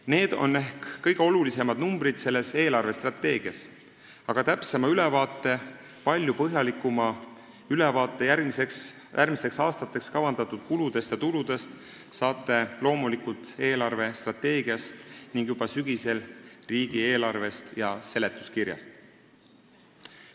Need on ehk kõige olulisemad numbrid selles eelarvestrateegias, aga täpsema ja palju põhjalikuma ülevaate järgmisteks aastateks kavandatud kuludest ja tuludest saate loomulikult eelarvestrateegiast ning juba sügisel riigieelarvest ja selle seletuskirjast.